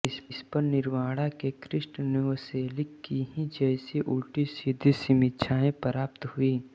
इस पर निर्वाणा के क्रिस्ट नोवोसेलिक की ही जैसी उल्टीसीधी समीक्षाएं प्राप्त हुईं